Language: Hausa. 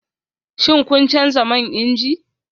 Shin kun canza man inji?